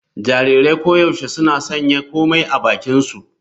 Jarirai koyaushe suna sanya komai a bakinsu.